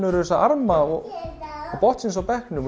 þessara arma og botnsins á bekknum